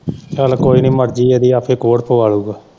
ਚੱਲ ਕੋਈ ਨੀ ਮਰਜ਼ੀ ਆ ਇਦੀ, ਆਪੇ ਕੋੜ ਪਵਾਲੁਗਾ।